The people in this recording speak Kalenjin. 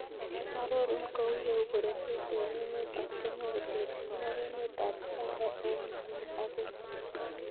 Arorun kou yeu bororiet en emet ab Kenya koterchin ak emet ab Uganda en nguni ak keny